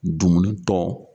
Dumuni tɔ.